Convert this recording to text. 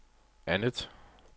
andet